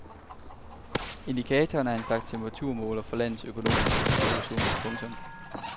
Indikatoren er en slags temperaturmåler for landets økonomiske situation. punktum